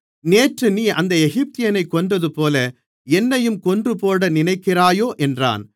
நேற்று நீ அந்த எகிப்தியனைக் கொன்றதுபோல என்னையும் கொன்றுபோட நினைக்கிறாயோ என்றான்